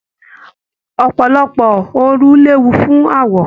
Ọpọlọpọ òru léwu fún awọ.